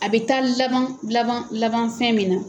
A bɛ taa laban laban laban fɛn min na.